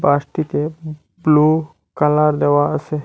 বাসটিতে blue colour দেওয়া আসে।